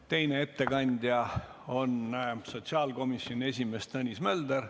Teine ettekandja on sotsiaalkomisjoni esimees Tõnis Mölder.